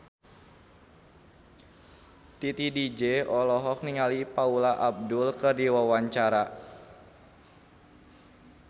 Titi DJ olohok ningali Paula Abdul keur diwawancara